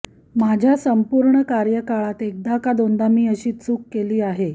माझ्या संपूर्ण कार्यकाळात एकदा का दोनदा मी अशी चूक केली आहे